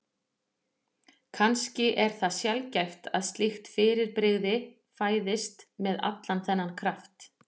Kannski er það sjaldgæft að slíkt fyrirbrigði fæðist með allan þennan kraft.